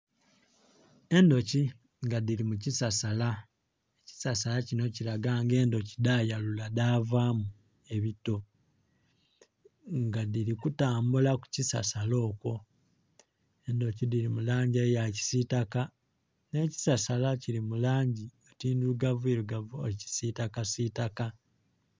Endhoki nga dhili mu kisaala, ekisasala kinho kilaga nga endhoki dha yalula dhavaamu ebito nga dhili kutambula ku kisasala okwo, endhoki dhili mu langi eya kisitaka nga kisasala kili mu langi oti ndhirugavu irugavu oti kisitaka sitaka.